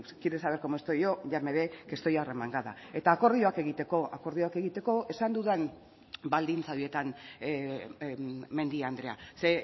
quiere saber cómo estoy yo ya me ve que estoy arremangada eta akordioak egiteko akordioak egiteko esan dudan baldintza horietan mendia andrea ze